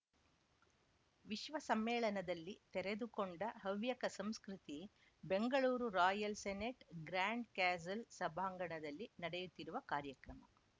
ವಿಶ್ವ ಸಮ್ಮೇಳನದಲ್ಲಿ ತೆರೆದುಕೊಂಡ ಹವ್ಯಕ ಸಂಸ್ಕೃತಿ Bengaluru Royal Senate Grand Castle ಸಭಾಂಗಣದಲ್ಲಿ ನಡೆಯುತ್ತಿರುವ ಕಾರ‍್ಯಕ್ರಮ